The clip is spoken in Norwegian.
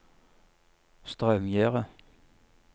Straumgjerde